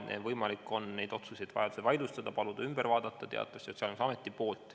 Neid otsuseid on vajaduse korral võimalik vaidlustada, paluda need Sotsiaalkindlustusametil üle vaadata.